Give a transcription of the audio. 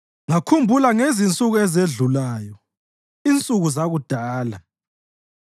Ngakhumbula ngezinsuku ezedlulayo, insuku zakudala;